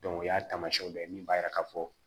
o y'a taamasiyɛn dɔ ye min b'a jira k'a fɔ